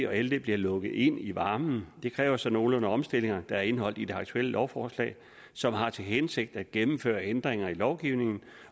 og ld bliver lukket ind i varmen det kræver så nogle omstillinger der er indeholdt i det aktuelle lovforslag som har til hensigt at gennemføre ændringer i lovgivningen